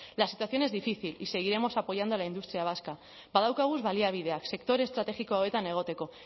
la situación es difícil y seguiremos apoyando a la industria vasca badaukagu baliabideak sector estratégico honetan egoteko